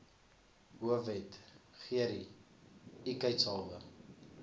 hoofwet gerie ikheidshalwe